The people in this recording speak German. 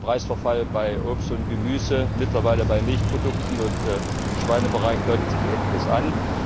Wir haben einen Preisverfall bei Obst und Gemüse, mittlerweile bei Milchprodukten, und im Schweinebereich deutet sich Ähnliches an.